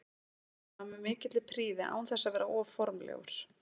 Hann gerir það með mikilli prýði án þess að vera of formlegur.